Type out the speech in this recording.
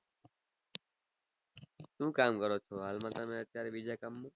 શું કામ કરો છો હાલ માં તમે અત્યારે બીજા કામ માં